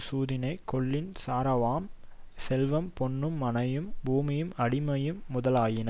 சூதினைக் கொள்ளின் சாராவாம் செல்வம் பொன்னும் மனையும் பூமியும் அடிமையும் முதலாயின